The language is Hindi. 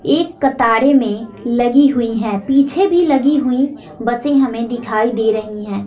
एक कतारे में लगी हुई है पीछे भी लगी हुई बसें हमें दिखाई दे रही हैं।